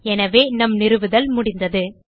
எனவே நம் நிறுவுதல் முடிந்தது